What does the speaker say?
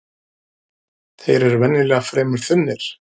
Þeir eru venjulega fremur þunnir